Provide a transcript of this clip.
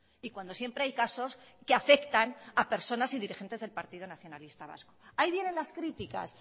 y cuando siempre hay casos que afectan a personas y dirigentes del partido nacionalista vasco ahí vienen las críticas